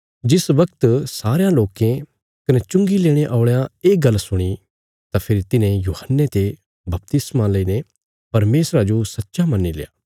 जिस बगत सारयां लोकें कने चुंगी लेणे औल़यां ये गल्ल सुणी तां फेरी तिन्हे यूहन्ने ते बपतिस्मा लेईने परमेशरा जो सच्चा मन्नील्या